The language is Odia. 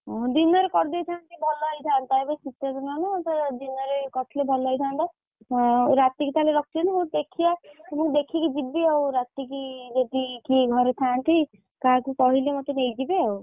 ଓହୋଃ ଦିନରେ କରିଦେଇଥାନ୍ତେ ଭଲ ହେଇଥାନ୍ତା ଏବେ ଶୀତ ଦିନ ନାତ ଦିନରେ କରିଥିଲେ ଭଲ ହେଇଥାନ୍ତା ହଁ ରାତିକି ତାହେଲେ ରଖିଛନ୍ତି ହଉ ତାହେଲେ ଦେଖିଆ, ହଉ ଦେଖିକି ଯିବି ଆଉ ରାତିକି ଯଦି କିଏ ଘରେ ଥାନ୍ତି କାହାକୁ କହିଲେ ମତେ ନେଇଯିବେ ଆଉ,